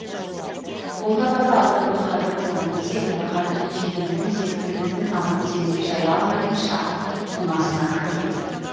қолда барда алтынның қадірі болмайтыны секілді қадіріне жете білмесек тіліміздің тамырын тереңге жая алмайтын шақ тумасына кім кепіл